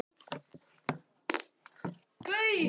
Hann er örugglega var um sig.